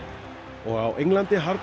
og á Englandi harðnar